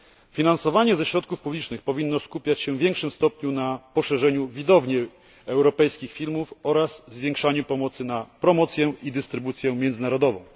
Finansowanie ze środków publicznych powinno skupiać się w większym stopniu na poszerzaniu widowni europejskich filmów oraz zwiększaniu pomocy na promocję i dystrybucję międzynarodową.